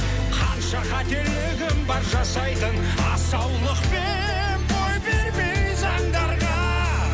қанша қателігім бар жасайтын асаулықпен бой бермей заңдарға